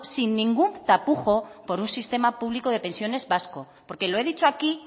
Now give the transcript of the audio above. sin ningún tapujo por un sistema público de pensiones vasco porque lo he dicho aquí